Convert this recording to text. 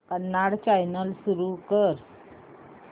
Kannada channel सुरू कर